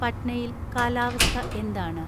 പട്നയിൽ കാലാവസ്ഥ എന്താണ്